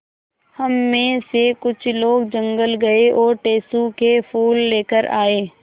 हम मे से कुछ लोग जंगल गये और टेसु के फूल लेकर आये